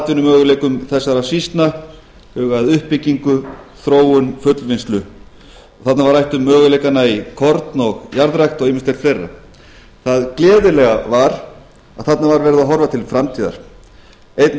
atvinnumöguleikum þessara sýslna huga að uppbyggingu þróun fullvinnslu þarna var rætt um möguleikana í korn og jarðrækt og ýmislegt fleira það gleðilega var að þarna var verið að horfa til framtíðar einn